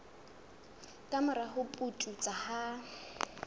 ka mora ho pudutsa ha